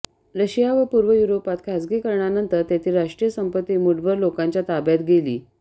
Russia व पूर्व युरोपात खासगीकरणानंतर तेथील राष्ट्रीय संपत्ती मूठभर लोकांच्या ताब्यात गेली